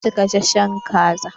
Zan ci gasashen kaza.